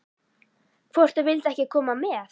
Hvort þau vildu ekki koma með?